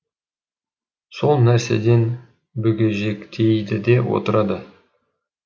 сәл нәрседен бүгежектейді де отырады